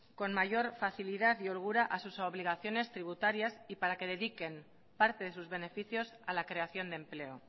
con mayor facilidad y holgura a sus obligaciones tributarias y para que dediquen parte de sus beneficios a la creación de empleo